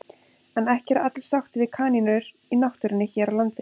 En ekki eru allir sáttir við kanínur í náttúrunni hér á landi.